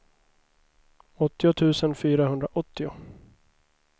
åttio tusen fyrahundraåttio